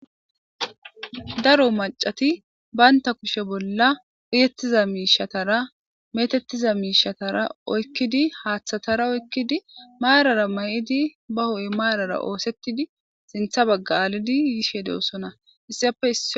daro macati baynta kushe bolla uyettiza miishatara metettiza miishatara oykkidi haaththatara oykkidi maarara may7idi ba ho7e maarara oosettidi sintha bagga aalidi yishe deossona issiyappeiss